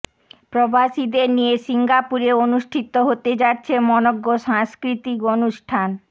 প্রবাসীদের নিয়ে সিঙ্গাপুরে অনুষ্ঠিত হতে যাচ্ছে মনোজ্ঞ সাংস্কৃতিক অনুষ্ঠান